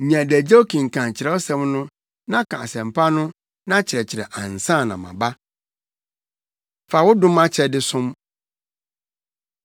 Nya adagyew kenkan Kyerɛwsɛm no na ka Asɛmpa no na kyerɛkyerɛ ansa na maba. Fa Wo Dom Akyɛde Som